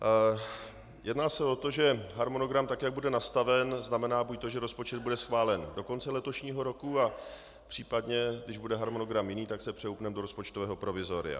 Jedná se o to, že harmonogram tak, jak bude nastaven, znamená buď to, že rozpočet bude schválen do konce letošního roku, a případně, když bude harmonogram jiný, tak se přehoupneme do rozpočtového provizoria.